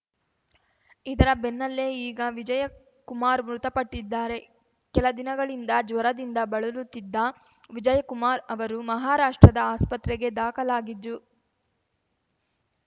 ಇದರ ಬೆನ್ನಲ್ಲೇ ಈಗ ವಿಜಯ ಕುಮಾರ್‌ ಮೃತಪಟ್ಟಿದ್ದಾರೆ ಕೆಲದಿನಗಳಿಂದ ಜ್ವರದಿಂದ ಬಳಲುತ್ತಿದ್ದ ವಿಜಯಕುಮಾರ್‌ ಅವರು ಮಹಾರಾಷ್ಟ್ರದ ಆಸ್ಪತ್ರೆಗೆ ದಾಖಲಾಗಿದ್ದು